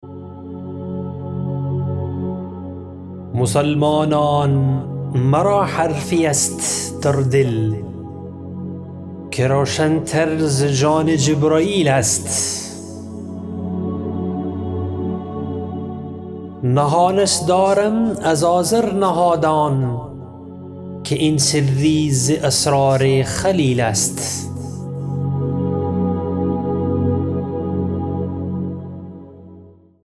مسلمانان مرا حرفی است در دل که روشن تر ز جان جبرییل است نهانش دارم از آزر نهادان که این سری ز اسرار خلیل است